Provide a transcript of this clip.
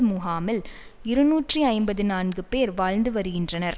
முகாமில் இருநூற்றி ஐம்பதி நான்கு பேர் வாழ்ந்து வருகின்றனர்